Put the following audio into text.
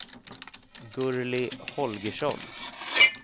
Gurli Holgersson